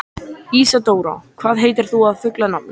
Ísadóra, hvað heitir þú fullu nafni?